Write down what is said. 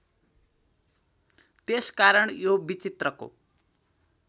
त्यसकारण यो विचित्रको